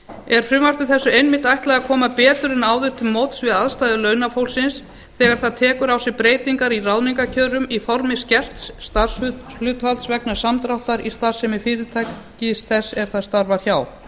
er frumvarpi þessu einmitt ætlað að koma betur en áður til móts við aðstæður launafólksins þegar það tekur á sig breytingar í ráðningarkjörum í formi skerts starfshlutfalls vegna samdráttar í starfsemi fyrirtækis þess er það starfar hjá